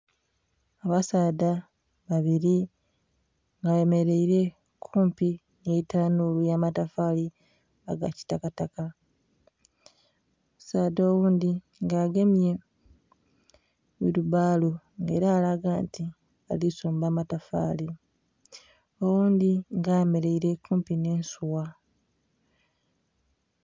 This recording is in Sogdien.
Abasaadha babiri bemereire kumpi nhi tanhulu ya matafali aga kitakataka, omusaadha oghundhi nga agemye wilibbalo nga era alaga nti alisomba matafali oghundhi nga ayemereire kumpi nhe ensugha.